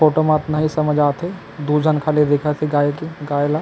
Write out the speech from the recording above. photo म अतना ही समझ आथे दू झन खड़े देखा थे गाय के गाय ल--